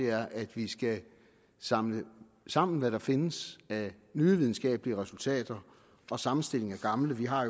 er at vi skal samle sammen hvad der findes af nye videnskabelige resultater og sammenstillinger af gamle vi har